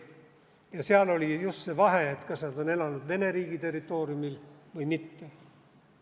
Ja seal oli just see vahe, kas nad on elanud Vene riigi territooriumil või mitte.